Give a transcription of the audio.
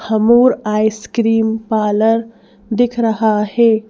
Havmor ice cream parlour दिख रहा है ।